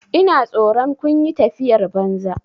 Ina tsoron kun yi tafiyar banza.